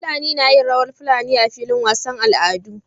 Fulani nayin rawar fulani a filin wasan al'adu